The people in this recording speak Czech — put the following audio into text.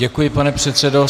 Děkuji, pane předsedo.